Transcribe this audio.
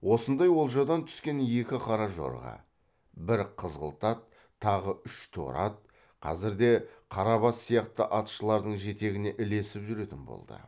осындай олжадан түскен екі қара жорға бір қызғылт ат тағы үш торы ат қазірде қарабас сияқты атшылардың жетегіне ілесіп жүретін болды